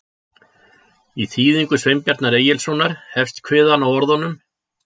Í þýðingu Sveinbjarnar Egilssonar hefst kviðan á orðunum: